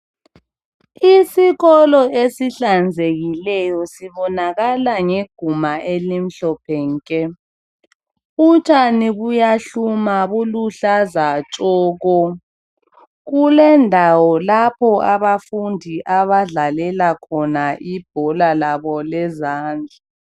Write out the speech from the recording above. Isikolo ezihlanzekileyo sibonakala ngeguma elimhlophe nke. Utshani buyahluma buluhlaza tshoko. Kulendawo lapho abafundi abadlalela khona ibhola labo lezandla.